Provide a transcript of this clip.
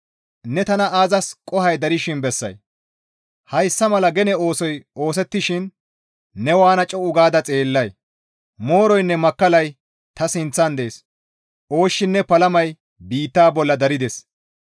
Ne tana aazas qohoy darshin bessay? Hayssa mala gene oosoy oosettishin ne waana co7u gaada xeellay? Mooroynne makkallay ta sinththan dees. Ooshshinne palamay biitta bolla darides.